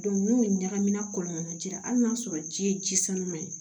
n'u ɲagamina kɔlɔlɔ jira hali n'a y'a sɔrɔ ji ye ji sanuya ye